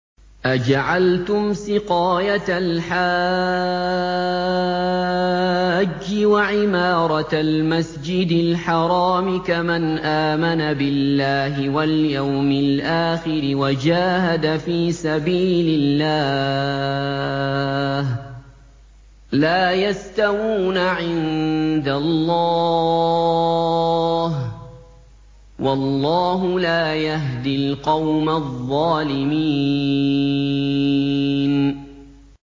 ۞ أَجَعَلْتُمْ سِقَايَةَ الْحَاجِّ وَعِمَارَةَ الْمَسْجِدِ الْحَرَامِ كَمَنْ آمَنَ بِاللَّهِ وَالْيَوْمِ الْآخِرِ وَجَاهَدَ فِي سَبِيلِ اللَّهِ ۚ لَا يَسْتَوُونَ عِندَ اللَّهِ ۗ وَاللَّهُ لَا يَهْدِي الْقَوْمَ الظَّالِمِينَ